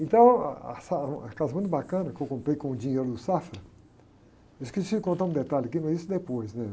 Então, ah, a sala, era numa casa muito bacana que eu comprei com o dinheiro do Safra, eu esqueci de contar um detalhe aqui, mas isso depois, né?